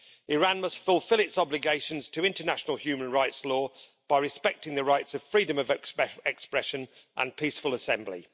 Iran must fulfil its obligations to international human rights law by respecting the rights of freedom of expression and peaceful assembly.